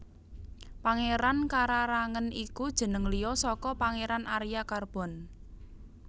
Pangeran Kararangen iku jeneng liya saka Pangéran Arya Carbon